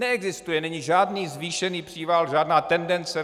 Neexistuje, není žádný zvýšený příval, žádná tendence.